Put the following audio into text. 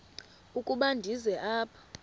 ukuba ndize apha